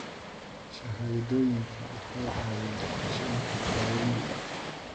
Shahaadooyinku waxay caawiyaan qorsheynta daawaynta.